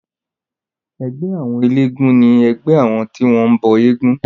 Ẹgbẹ́ àwọn elégún ni ẹgbẹ́ àwọn tí wọ́n bọ éégún.